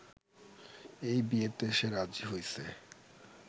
এই বিয়েতে সে রাজি হইসে